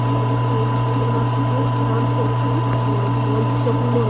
और कोई supermarket है राम शॉपिंग मॉल मॉल है शॉपिंग मॉल है।